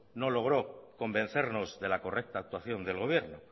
no logro convencernos de la correcta actuación del gobierno